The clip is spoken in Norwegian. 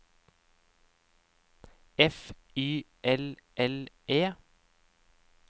F Y L L E